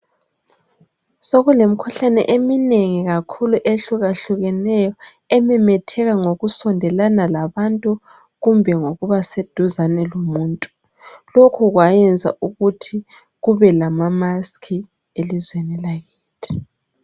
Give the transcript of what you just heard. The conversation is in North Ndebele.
Sokule mikhuhlane eminengi kakhulu ehluka hlukeneyo ememetheka ngokusondelana labantu kumbe ngokuba seduzane lomuntu. Lokhu kwayenza ukuthi kube lama maskhi elizweni lakithi.